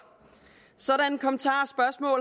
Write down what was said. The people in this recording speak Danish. sådanne kommentarer